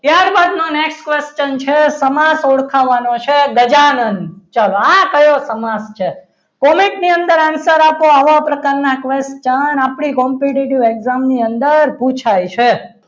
ત્યારબાદનો next question છે સમાશ ઓળખાવાનું છે ગજાનંદ ચલો આ કયો સમાસ છે comment ની અંદર answer આપો આવા પ્રકારના ત્રણ આપણી competitive exam ની અંદર પુછાય છે.